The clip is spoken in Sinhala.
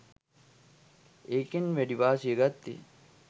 ඒකෙන් වැඩි වාසිය ගත්තෙ